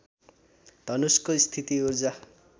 धनुषको स्थिति ऊर्जा